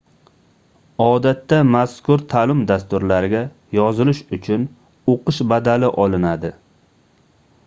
odatda mazkur taʼlim dasturlariga yozilish uchun oʻqish badali olinadi